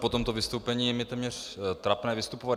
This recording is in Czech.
Po tomto vystoupení je mi téměř trapné vystupovat.